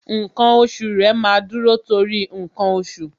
Ǹkan oṣù rẹ, máa dúró torí ǹkan oṣù